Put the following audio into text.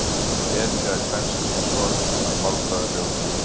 hetja er kvenkynsorð að málfræðilegu kyni